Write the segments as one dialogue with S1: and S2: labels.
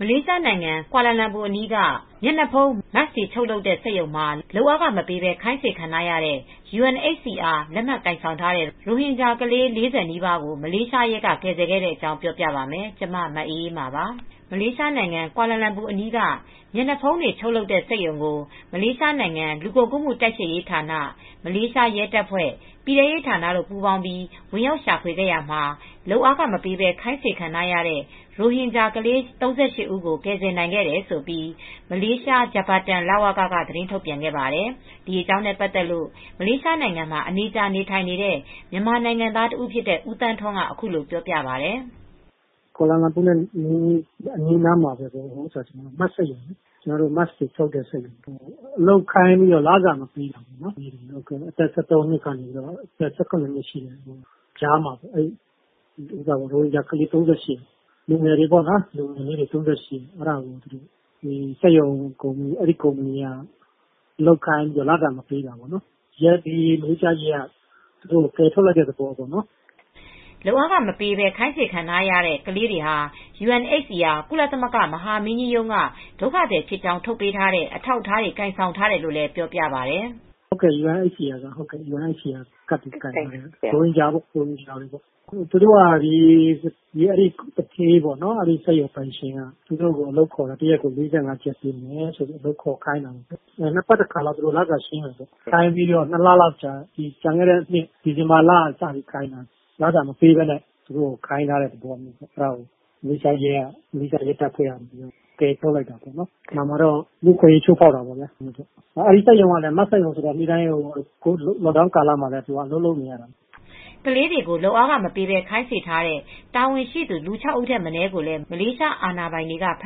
S1: မလေးရှားနိုင်ငံ ကွာလာလမ်ပူအနီးက မျက်နှာဖုံး (Mask) တွေချုပ်လုပ်တဲ့ စက်ရုံမှာ လုပ်အားခမပေးဘဲ ခိုင်းစေခံထားရတဲ့ UNHCR လက်မှတ် ကိုင်ဆောင်ထားတဲ့ ရိုဟင်ဂျာကလေး ၄၀ နီးပါးကို မလေးရှားရဲက ကယ်ဆယ်ခဲ့ပါတယ်။ အပြည့်အစုံကို ထိုင်းအခြေစိုက် ဗွီအိုအေမြန်မာပိုင်း သတင်းထောက် မအေးအေးမာ တင်ပြပေးထားပါတယ်။ မလေးရှားနိုင်ငံ ကွာလာလမ်ပူအနီးက မျက်နှာဖုံးတွေချုပ်လုပ်တဲ့ စက်ရုံကို မလေးရှားနိုင်ငံ လူကုန်ကူးမှုတိုက်ဖျက်ရေးဌာန၊ မလေးရှားရဲတပ်ဖွဲ့၊ ပြည်ထဲရေးဌာနတို့ ပူးပေါင်းပြီး ဝင်ရောက်ရှာဖွေခဲ့ရာမှာ လုပ်အားခမပေးဘဲ ခိုင်းစေခံထားရတဲ့ ရိုဟင်ဂျာကလေး ၃၈ ဦးကို ကယ်ဆယ်နိုင်ခဲ့တယ်လို့ မလေးရှား Japatan လဝက က သတင်းထုတ်ပြန်ခဲ့ပါတယ်။ ဒီအကြောင်းနဲ့ပတ်သက်လို့ မလေးရှားနိုင်ငံမှာ အနေကြာ နေထိုင်နေတဲ့ မြန်မာနိုင်ငံသားတဦးဖြစ်တဲ့ ဦးသန်းထွန်းက အခုလိုပြောပြပါတယ်။
S2: “ကွာလာလမ်ပူနဲ့ အနီးအနားက Mask တွေချုပ်လုပ်တဲ့ စက်ရုံပေါ့။ အလုပ်ခိုင်းပြီး လစာမပေးတာပေါ့။ အသက် ၁၃ နှစ်ကနေ ၁၇ နှစ်ကြား ရိုဟင်ဂျာကလေးတွေ လူငယ်လေးတွေ ၃၈ ဦးပေါ့။ အဲဒီစက်ရုံ ကုမ္ပဏီက အလုပ်ခိုင်းပြီး လစာမပေးတာပေါ့။ မလေးရှားရဲက သူတို့ကို ကယ်ထုတ်လိုက်တဲ့ သဘောပေါ့။”
S1: လုပ်အားခမပေးဘဲ ခိုင်းစေခံထားရဲ့ ကလေးတွေဟာ UNHCR ကုလသမဂ္ဂ မဟာမင်းကြီးရုံးက ဒုက္ခသည်ဖြစ်ကြောင်း ထုတ်ပေးထားတဲ့ အထောက်အထားတွေ ကိုင်ဆောင်ထားတယ်လို့လည်း ပြောပြပါတယ်။ “
S2: သူတို့က UNHCR ကတ် ကိုင်ထားတဲ့ ရိုဟင်ဂျာ ကလေးတွေပေ့ါ။ သူတို့သူဌေး စက်ရုံပိုင်ရှင်က သူတို့ကို အလုပ်ခေါ်ခိုင်းတာ တရက်ကို မလေးရှားရင်းဂစ် ၄၅ ပေးမယ်ပေါ့၊ သူတို့ကို အလုပ်ခေါ်ခိုင်းတာ ၂ ပတ်တကြိမ် လုပ်အားခရှင်းမယ်ပြောတယ်။ သူတို့ကိုခိုင်းထားတာ ပြီးခဲ့တဲ့နှစ် ဒီဇင်ဘာကတည်းက လုပ်အားခမပေးဘဲ ခိုင်းထားတာ။ မလေးရှားရဲက ကယ်ထုတ်လိုက်တာ။ လူ့အခွင့်အရေး ချိုးဖောက်တဲ့သဘောပေါ့။ Mask စက်ရုံကလည်း လော့ဒေါင်းကာလ (ကန့်သတ်ပိတ်ဆို့မှုတွေ လုပ်ထားတဲ့ကာလ) မှာလည်း Mask စက်ရုံဆိုတော့ အလုပ်တွေကတော့ လုပ်နေရတယ်။
S1: ” ကလေးတွေကို လုပ်အားခမပေးဘဲ ခိုင်းစေထားတဲ့ တာဝန်ရှိသူ လူ ၆ ဦးထက်မနည်းကိုလည်း မလေးရှားအာဏာပိုင်တွေက ဖ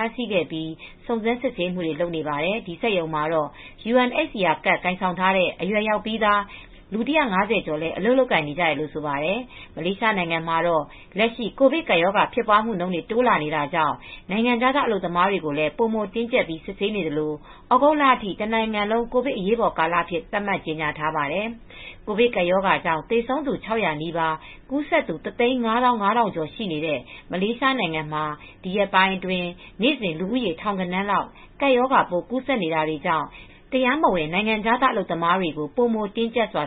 S1: မ်းဆီးခဲ့ပြီး စုံစမ်းစစ်ဆေးမှုတွေ လုပ်နေပါတယ်။ ဒီစက်ရုံမှာတော့ UNHCR ကတ် ကိုင်ဆောင်ထားတဲ့ အရွယ်ရောက်ပြီးသား လူ ၁၅၀ ကျော်လည်း အလုပ်လုပ်ကိုင်နေကြတယ်လို့ ဆိုပါတယ်။ မလေးရှားနိုင်ငံမှာတော့ လက်ရှိ ကိုဗစ်ကပ်ရောဂါ ဖြစ်ပွားမှုနှုန်းတွေ တိုးလာတာကြောင့် နိုင်ငံခြားသား အလုပ်သမားတွေကိုလည်း ပိုမိုတင်းကျပ်ပြီး စစ်ဆေးနေသလို သြဂုတ်လအထိ တနိုင်ငံလုံး ကိုဗစ်အရေးပေါ်ကာလအဖြစ် သတ်မှတ်ကြေညာထားပါတယ်။ ကိုဗစ်ကပ်ရောဂါကြောင့် သေဆုံးသူ ၆၀၀ နီးပါး၊ ကူးစက်သူ ၁၅၅,၀၀၀ ကျော်ရှိနေတဲ့ မလေးရှားနိုင်ငံမှာ ဒီရက်ပိုင်းအတွင်း နေ့စဉ် လူဦးရေထောင်ဂဏန်းလောက် ကပ်ရောဂါပိုး ကူးစက်နေတာတွေကြောင့် တရားမဝင် နိုင်ငံခြားသား အလုပ်သမားတွေကို ပိုမိုတင်းကျပ်စွာ